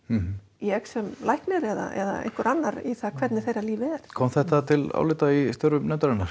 ég sem læknir eða einhver annar í það hvernig þeirra líf er kom þetta til álita í störfum nefndarinnar